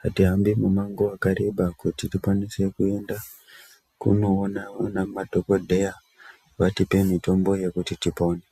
hatihambi umango hwakareba kuti tikwase kuenda kunoona madhokoteya vatipe mitombo yekuti tipone.